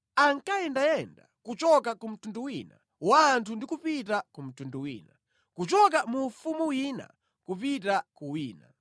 ankayendayenda kuchoka ku mtundu wina wa anthu ndi kupita ku mtundu wina, kuchoka mu ufumu wina kupita ku wina.